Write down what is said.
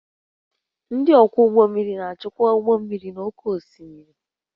Ndị ọkwọ ụgbọ mmiri na-achịkwa ụgbọ mmiri n'oké osimiri